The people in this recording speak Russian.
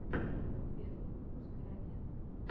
первый выпуск эроген